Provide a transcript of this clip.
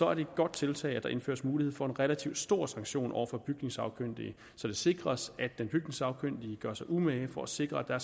er det et godt tiltag at der indføres mulighed for en relativt stor sanktion over for bygningssagkyndige så det sikres at den bygningssagkyndige gør sig umage for at sikre at der